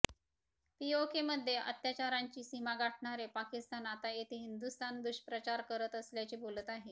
पीओकेमध्ये अत्याचारांची सीमा गाठणारे पाकिस्तान आता तेथे हिंदुस्थान दुष्प्रचार करत असल्याचे बोलत आहे